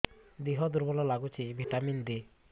ଦିହ ଦୁର୍ବଳ ଲାଗୁଛି ଭିଟାମିନ ଦେ